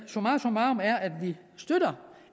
summarum vi støtter